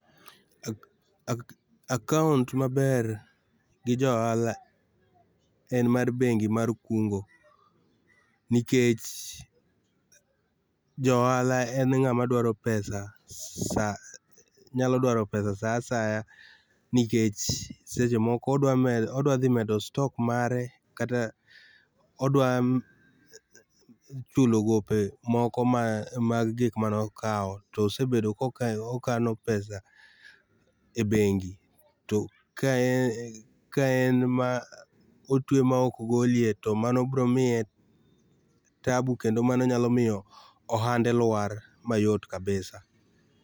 Ak, ak, account maber gi ja ohala en mar bengi mar kungo nikech ja ohala en ngama dwaro pesa sa nyalo daro pesa saa nyalo dwar pesa saa asaya nikeche seche moko odwa medo, odwa dhi medo stock mare, kata odwa chulo gope moko mag gik moko mane okao to osebedo ka okano pesa e bengi, to kaen, kaen ma otwe maok golie to mano bro miye tabu kendo mano nyalo miyo ohande lwar mayot kabisa